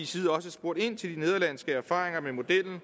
side også spurgt ind til de nederlandske erfaringer med modellen